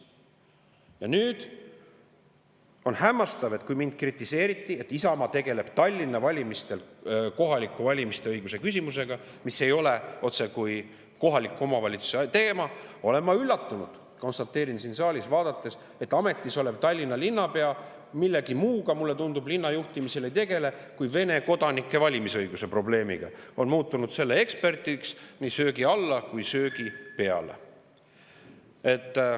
Ja nüüd on hämmastav, et mind kritiseeriti, et Isamaa tegeleb Tallinna kohalike valimiste õiguse küsimusega, mis ei ole otsekui kohaliku omavalitsuse teema, aga – ma olen üllatunud, konstateerin seda siin saalis – ametis olev Tallinna linnapea, mulle tundub, millegi muuga linna juhtimisel ei tegelegi kui Vene kodanike valimisõiguse probleemiga, on muutunud selle eksperdiks – nii söögi alla kui söögi peale.